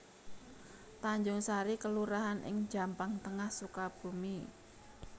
Tanjungsari kelurahan ing Jampang Tengah Sukabumi